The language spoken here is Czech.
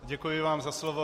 Děkuji vám za slovo.